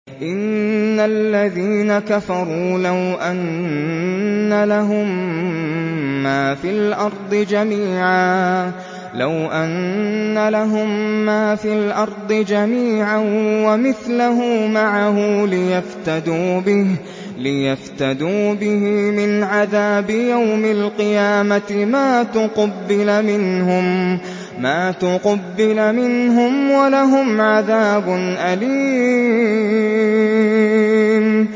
إِنَّ الَّذِينَ كَفَرُوا لَوْ أَنَّ لَهُم مَّا فِي الْأَرْضِ جَمِيعًا وَمِثْلَهُ مَعَهُ لِيَفْتَدُوا بِهِ مِنْ عَذَابِ يَوْمِ الْقِيَامَةِ مَا تُقُبِّلَ مِنْهُمْ ۖ وَلَهُمْ عَذَابٌ أَلِيمٌ